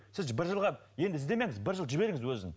сіз бір жылға енді іздемеңіз бір жыл жіберіңіз өзін